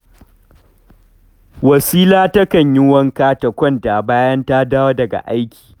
Wasila takan yi wanka ta kwanta bayan ta dawo daga aiki